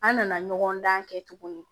An nana ɲɔgɔn dan kɛ tuguni